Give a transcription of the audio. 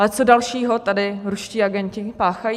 Ale co dalšího tady ruští agenti páchají?